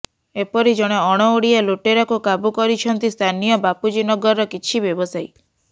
ଏପରି ଜଣେ ଅଣ ଓଡ଼ିଆ ଲୁଟେରାକୁ କାବୁ କରିଛନ୍ତି ସ୍ଥାନୀୟ ବାପୁଜୀନଗରର କିଛି ବ୍ୟବସାୟୀ